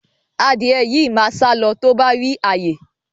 Adìẹ yìí máa sálọ tó bá rí ààyè